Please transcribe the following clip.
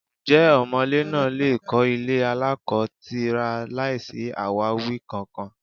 Ǹjẹ́ ọmọ̀lé náà lè kọ́ ilé aláko-tira láìsí àwáwí kankan?